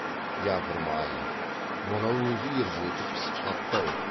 япырмай мынау өзі ержетіп пісіп қапты ау